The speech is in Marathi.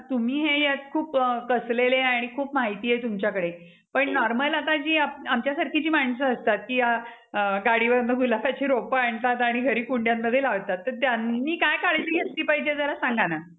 तुम्ही हे ह्यात खूप कसले ले आणि खूप माहिती आहे तुमच्याकडे पण normal आता जी आमच्या सारखी जी माणसं असतात की गाडी वरून गुलाबाची रोपे आणतात आणि घरी कुंड्यांमध्ये लावतात तर त्यांनी काय काळजी घेतली पाहिजे जरा सांगा ना?